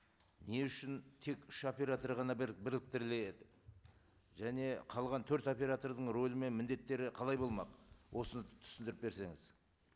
не үшін тек үш оператор ғана біріктіріледі және қалған төрт оператордың рөлі мен міндеттері қалай болмақ осыны түсіндіріп берсеңіз